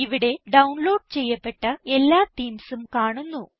ഇവിടെ ഡൌൺലോഡ് ചെയ്യപ്പെട്ട എല്ലാ themesഉം കാണുന്നു